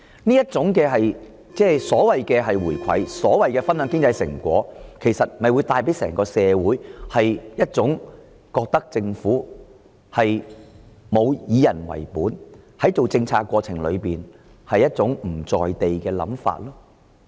這種所謂的"回饋"或"分享經濟成果"給予整個社會的感覺，是政府沒有以人為本，以及在制訂政策的過程中"不在地"。